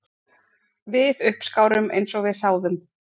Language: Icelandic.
Við uppskárum eins og við sáðum